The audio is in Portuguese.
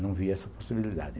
Não via essa possibilidade.